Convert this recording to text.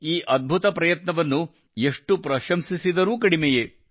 ಈ ಅದ್ಭುತ ಪ್ರಯತ್ನವನ್ನು ಎಷ್ಟು ಪ್ರಶಂಸಿಸಿದರೂ ಕಡಿಮೆಯೇ